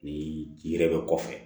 Ni yiri bɛ kɔfɛ